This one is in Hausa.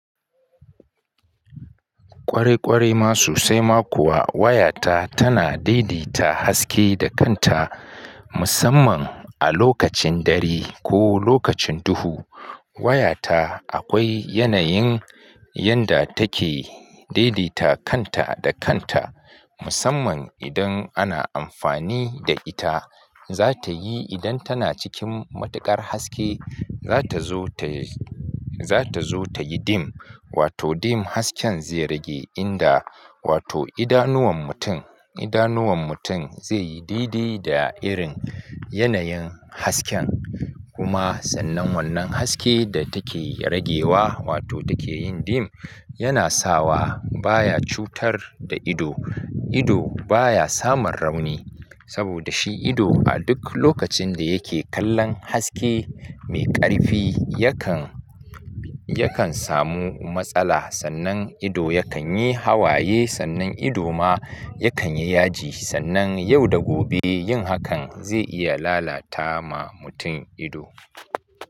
Ƙwarai ƙwarai ma sosai ma kuwa waya ta tana daidaita haske da kanta musamman a lokacin dare ko lokacin duhu. Waya ta akwai yanayin yanda take daidaita kanta da kanta musamman idan ana amfani da ita. Za ta yi idan tana cikin matuƙar haske, za ta zo ta, za ta zo ta yi dim wato dim hasken zai rage inda wato idanuwan mutum, idanuwan mutum zai yi didi da irin yanayin hasken. Kuma sannan wannan haske da take ragewa wato take yin dim yana sawa baya cutar da ido. Ido baya samun rauni saboda shi ido a duk lokacin da yake kallon haske mai ƙarfi yakan, yakan samu matsala. Sannan ido yakan yi hawaye, sannan ido ma yakan yi yaji. Sannan yau da gobe yin hakan zai iya lalata ma mutum ido.